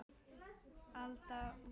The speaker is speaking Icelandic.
Alda vopnuð!